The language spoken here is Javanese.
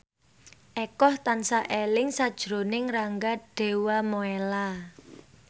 Eko tansah eling sakjroning Rangga Dewamoela